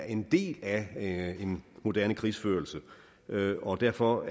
en del af moderne krigsførelse og derfor